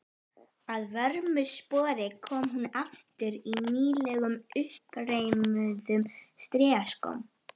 Að vörmu spori kom hún aftur í nýlegum, uppreimuðum strigaskóm.